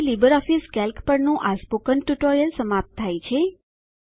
અહીં LibreOffice Calc પરનું આ સ્પોકન ટ્યુટોરીયલ સમાપ્ત થાય છે